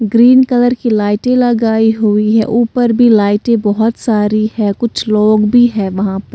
green colour की लाइटें लगाई हुई है ऊपर भी लाइटें बहुत सारी है कुछ लोग भी है वहां पर--